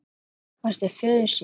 Að minnsta kosti föður sínum.